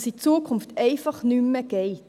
Das geht künftig einfach nicht mehr!